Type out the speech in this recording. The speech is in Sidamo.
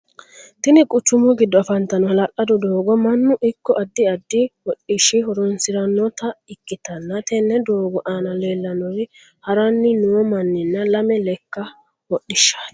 Tinni quchumu gido afantano ha'lalado doogo mannu iko addi addi hodhishi horoonsiranota ikitanna tenne doogo aanna leelanori haranni noo manninna lame leka hodhishaati.